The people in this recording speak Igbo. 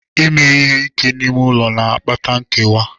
Ime ihe ike n'ime ụlọ na-akpata nkewa.